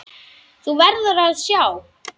Þú verður að sjá!